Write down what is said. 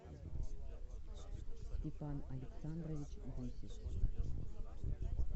степан александрович гусев